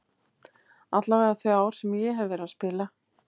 Allavega þau ár sem ég hef verið að spila.